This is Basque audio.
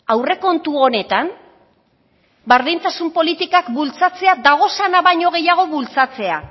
aurrekontu honetan berdintasun politikak bultzatzea dagozanak baino gehiago bultzatzea